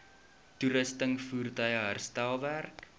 toerusting voertuie herstelwerk